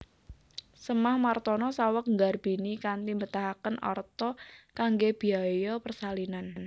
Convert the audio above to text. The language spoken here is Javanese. Sémah Martono saweg nggarbini kanthi mbetahaken arta kanggé biaya persalinan